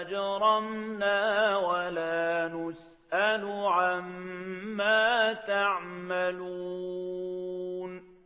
أَجْرَمْنَا وَلَا نُسْأَلُ عَمَّا تَعْمَلُونَ